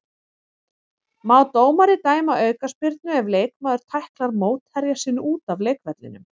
Má dómari dæma aukaspyrnu ef leikmaður tæklar mótherja sinn út af leikvellinum?